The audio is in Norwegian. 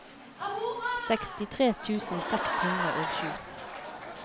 sekstitre tusen seks hundre og sju